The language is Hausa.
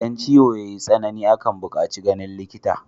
Idan ciwo yayi tsanani akan bukaci ganin likita